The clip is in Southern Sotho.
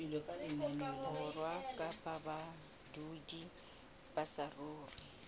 borwa kapa badudi ba saruri